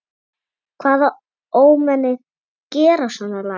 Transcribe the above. Hvaða ómenni gera svona lagað?